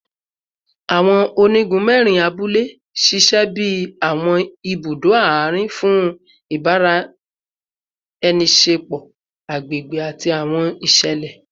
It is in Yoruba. Awọn onigun mẹrin abule ṣiṣẹ bi awọn ibudo aarin fun ibaraenisepo agbegbe ati awọn iṣẹlẹ